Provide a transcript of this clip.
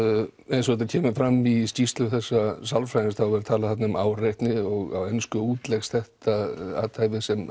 eins og þetta kemur fram í skýrslu þessa sálfræðings þá er talað þarna um áreitni og á ensku útleggst þetta athæfi sem